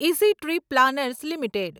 easy Trip Planners limited